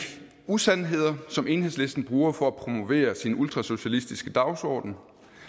usandheder som enhedslisten bruger for at promovere sin ultrasocialistiske dagsorden